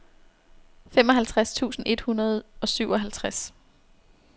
femoghalvtreds tusind et hundrede og syvoghalvtreds